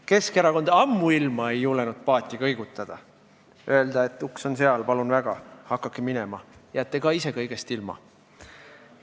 Keskerakond ammuilma ei julgenud paati kõigutada ja öelda, et uks on seal, palun väga, hakake minema, jääte ka ise kõigest ilma.